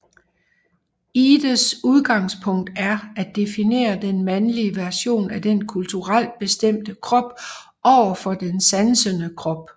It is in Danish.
Ihdes udgangspunkt er at definere den mandlige version af den kulturelt bestemte krop over for den sansende krop